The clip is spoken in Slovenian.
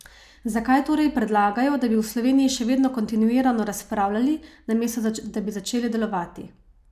Zakaj torej predlagajo, da bi v Sloveniji še vedno kontinuirano razpravljali, namesto da bi začeli delovati?